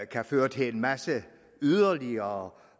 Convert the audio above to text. kan føre til en masse yderligere